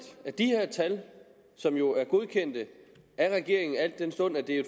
at de her tal som jo er godkendt af regeringen al den stund at det var